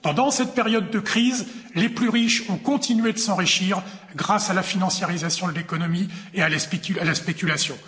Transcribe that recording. Pendant cette période de crise, les plus riches ont continué de s'enrichir grâce à la financiarisation de l'économie et à la spéculation.